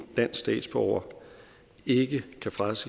dansk statsborger ikke kan frakendes